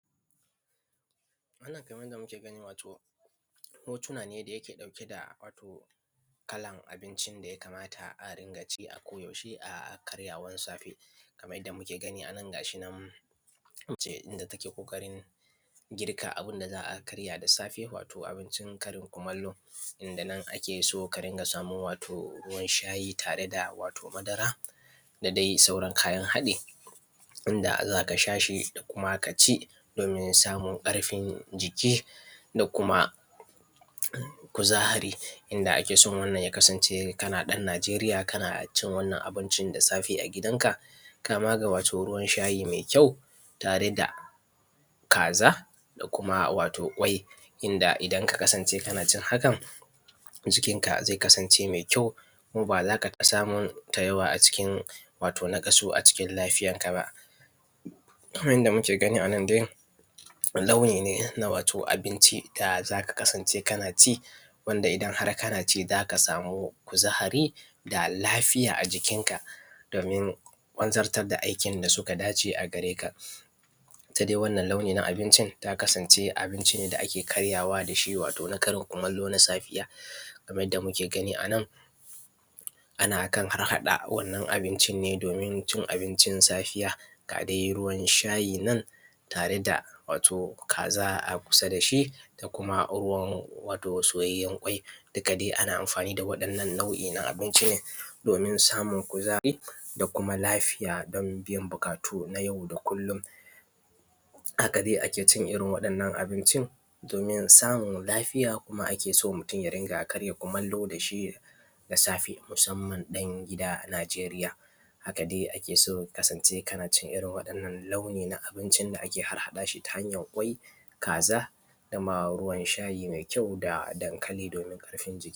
Wannan Kaman yanda muke gani wato hotuna ne da yake ɗauk da kalan abincin daya kamata a rinƙaci a ko yaushe a karyawan safe. Kaman yanda muke gani anan gashinan mace yanda take ƙoƙarin girka abunda za’a karya da safe wato abincin Karin kumallo inda nan akeso karinka samun sayi wato ruwan shati wato da dai madara da dai sauran kayan haɗi. Inda zaka shashi kuma kaci domin samun ƙarfin jiki da kuma kuzari, inda akeso wannan ya kasance kana ɗan najeriya kanacin wannan abincin da safe agidan ka kama da wato ruwan shayi mai kyau ta reda kaza da wato kwai. Inda idan ka kasance kanacin hakan jikinka wato zai kasance mai yau kuma bazaka rinka samun tawaya a cikin wato naƙasu a cikin lafiyan ka ba. Kaman yanda muke gani anan dai launi ne wato abinci wanda zaka kasance kanaci wanda idan har kanaci kaza samu kuzari da lafiya a jukin ka domin wanzartar da aikin da suka dace a jikin ka. Itta dai wannan launi na abincin ata kasance abincin da ake karyawa dashi na Karin kumallo na safiya kamar yadda mukr gani anan anakan harhaɗa abincinne domin cin abincin safiya gadai ruwan shayinan tare da wato kaza a kusa dashi da ruwan wato soyayyen kwai. Duka dai ana amfani da wato wannan nau’I na abinci ne domin samun kuzari da kuma lafiya dan biyan buƙatu nay au da kullum, haka akecin irrin waɗannan abincin domin samun lafiya kuma akeso mutun ya rinƙa karya kumallo dashi da safe musamman ɗan gida najeriya, haka dai akeso ka kasance kanacin irrin wannan launi na abincin da ake harhaɗashi ta hanyan kwai, kaza dama ruwan shayi mai kyau da dankali domin ƙarfin jiki.